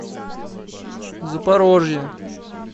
запорожье